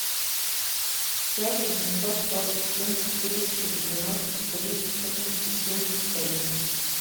пять восемьсот сорок семь четыреста девяносто три четырнадцать семьдесят один